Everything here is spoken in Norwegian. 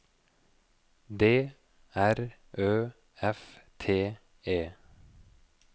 D R Ø F T E